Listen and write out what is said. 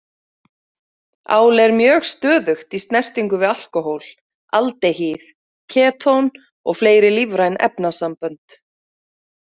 Ál er mjög stöðugt í snertingu við alkóhól, aldehýð, ketón og fleiri lífræn efnasambönd.